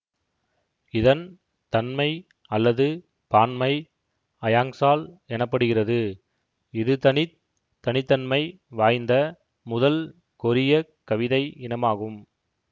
இதன் தன்மை அல்லது பான்மை ஃஅயாங்சால் எனப்படுகிறது இதுதனித் தனி தன்மை வாய்ந்த முதல் கொரியக் கவிதை இனமாகும்